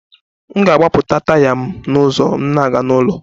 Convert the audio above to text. M ga-agbapụta taya m n'ụzọ m na-aga n'ụlọ